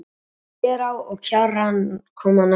Þverá og Kjarrá koma næstar.